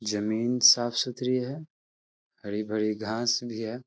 जमीन साफ़-सुथरी है। हरी-भरी घास भी है ।